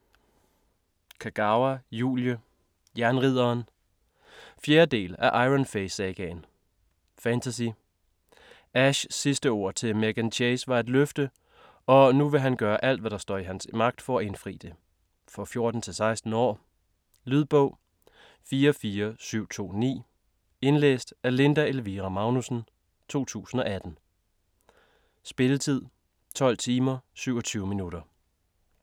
Kagawa, Julie: Jernridderen 4. del af Iron Fey sagaen. Fantasy. Ashs sidste ord til Meghan Chase var et løfte, og nu vil han gøre alt hvad der står i hans magt for at indfri det. For 14-16 år. Lydbog 44729 Indlæst af Linda Elvira Magnussen, 2018. Spilletid: 12 timer, 27 minutter.